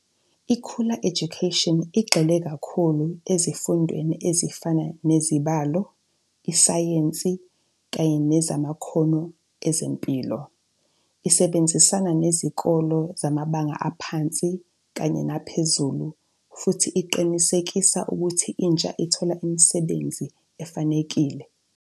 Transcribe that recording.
Ikhula education igxile kakhulu ezifundweni ezifana nezibalo, isayensi Kanye nezamakhono ezempilo. Isebenzisana nezikole zamabanga aphansi Kanye phezulu futh iqinisekisa ukuth intsha ithola imisebenzi efanekile.